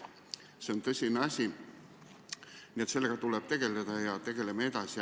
See on tõsine asi, nii et sellega tuleb tegelda ja me tegelemegi sellega edasi.